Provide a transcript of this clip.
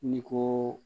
Ni ko